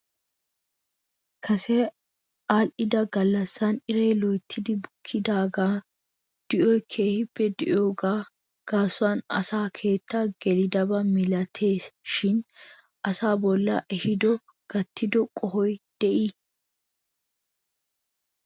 Kase aadhdhida gallassan iray loyttidi bukkidaagan di'oy keehippe di'idoogaa gaasuwan asakeetta gelidaba milatees shin asaa bolla he di'oy gattido qohoy de'ii?